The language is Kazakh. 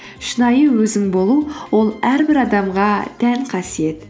шынайы өзің болу ол әрбір адамға тән қасиет